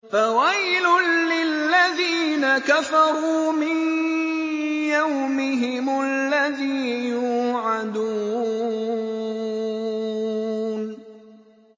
فَوَيْلٌ لِّلَّذِينَ كَفَرُوا مِن يَوْمِهِمُ الَّذِي يُوعَدُونَ